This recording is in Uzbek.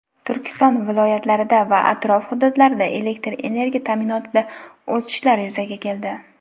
Turkiston (viloyatlarida) va atrof hududlarida elektr energiya ta’minotida o‘chishlar yuzaga keldi.